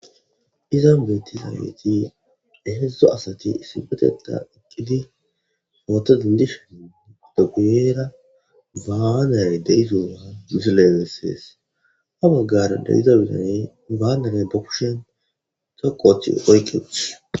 Izan buetizabeeti ehedzdo asati isibeteda iqqidi footo dindishen odoguyera baanare deizoa mizi lelessees a maggara deiza bidane baanere ba kushen coqochi oykket